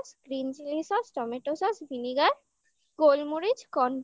green chili sauce, tomato sauce, vinegar গোলমরিচ corn